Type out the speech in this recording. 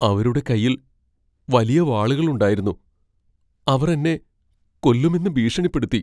അവരുടെ കൈയിൽ വലിയ വാളുകളുണ്ടായിരുന്നു, അവർ എന്നെ കൊല്ലുമെന്ന് ഭീഷണിപ്പെടുത്തി.